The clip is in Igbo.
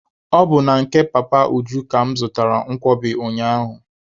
Ọ bụ na nke Papa Uju ka mụ zụtaara nkwobi ụnyaahụ.